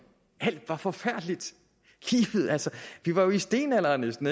alt var forfærdeligt livet altså vi var jo i stenalderen næsten